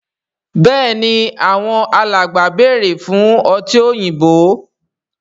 Béèni Àwọn alàgbà bẹrẹ fún ọtí òyìnbó.